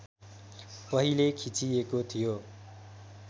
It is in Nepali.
पहिले खिचिएको थियो